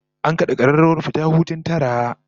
An kada kararrawar fita hutun tara